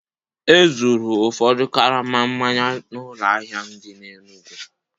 E zuuru ụfọdụ karama mmanya n'ụlọ ahịa m dị n'Enugwu